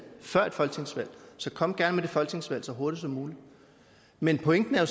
før et folketingsvalg så kom gerne med det folketingsvalg så hurtigt som muligt men pointen er